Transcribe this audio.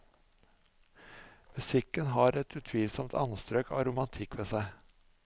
Musikken har et utvilsomt anstrøk av romantikk ved seg.